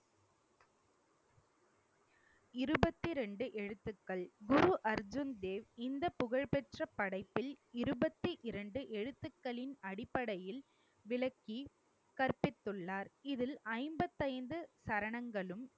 இருபத்தி ரெண்டு எழுத்துக்கள் குரு அர்ஜுன் தேவ் இந்த புகழ்பெற்ற படைப்பில் இருபத்தி இரண்டு எழுத்துக்களின் அடிப்படையில் விளக்கி கற்பித்துள்ளார். இதில் ஐம்பத்தி ஐந்து சரணங்களும்